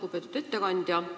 Lugupeetud ettekandja!